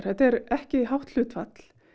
þetta er ekki hátt hlutfall